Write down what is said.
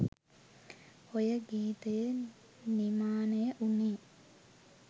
ඔය ගීතය නිමානය වුනේ